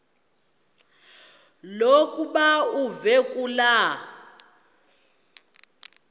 lokuba uve kulaa